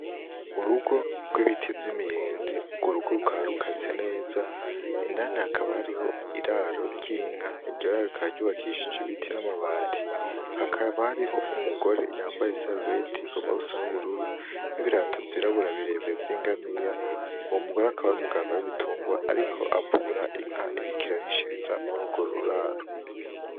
Urugo rw'ibiti vy'imiyenzi urwo rugo rukaba rukase neza, indani hakaba hariho iraro ry'inka, iryo raro rikaba ryubakishije ibiti n'amabati hakaba hariho umugore yambaye isarubeti rigomba gusa n'ubururu n'ibirato vyirabura birebire vy'ingamiya, uwo mugore akaba ari umuganga w'ibitungwa ariko avura inka iriko irarishiriza muri urwo ruraro.